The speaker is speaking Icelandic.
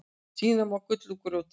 Tína má gull úr grjóti.